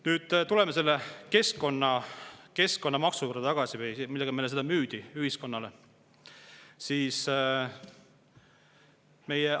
Tuleme tagasi selle keskkonnamaksu juurde, millega meile ja ühiskonnale seda müüdi.